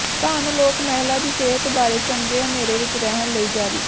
ਧੰਨ ਲੋਕ ਮਹਿਲਾ ਦੀ ਸਿਹਤ ਬਾਰੇ ਚੰਗੇ ਹਨੇਰੇ ਵਿਚ ਰਹਿਣ ਲਈ ਜਾਰੀ